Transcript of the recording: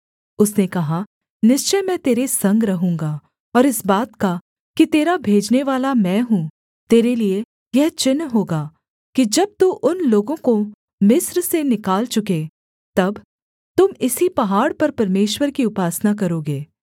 उसने कहा निश्चय मैं तेरे संग रहूँगा और इस बात का कि तेरा भेजनेवाला मैं हूँ तेरे लिए यह चिन्ह होगा कि जब तू उन लोगों को मिस्र से निकाल चुके तब तुम इसी पहाड़ पर परमेश्वर की उपासना करोगे